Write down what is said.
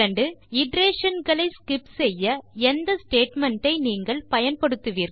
iteration களை skip செய்ய எந்த ஸ்டேட்மெண்ட் ஐ நீங்கள் பயன்படுத்துவீர்கள்